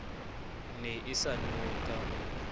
ne e sa nowe ka